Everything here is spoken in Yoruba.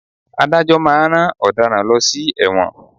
Adájọ́ máa ń rán ọ̀daràn lọ sí ẹ̀wọ̀n.